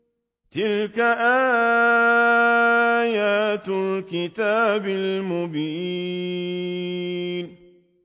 تِلْكَ آيَاتُ الْكِتَابِ الْمُبِينِ